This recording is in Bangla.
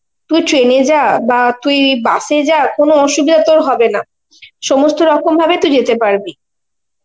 তুই train এ যা বা তুই bus এ যা কোনো অসুবিধা তোর হবে না, সমস্ত রকম ভাবে তুই যেতে পারবি